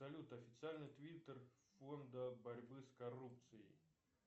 салют официальный твиттер фонда борьбы с коррупцией